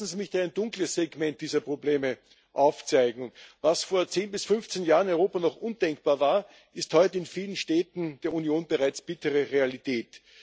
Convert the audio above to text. Lassen sie mich ein dunkles Segment dieser Probleme aufzeigen Was vor 10 bis 15 Jahren in Europa noch undenkbar war, ist heute in vielen Städten der Union bereits bittere Realität.